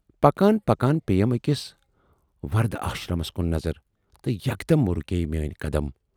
پکان پکان پییَم ٲکِس وردھ آشرمس کُن نظر تہٕ یکدم رُکییہِ میٲنۍ قدم۔